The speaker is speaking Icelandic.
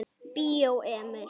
Bíó Emil.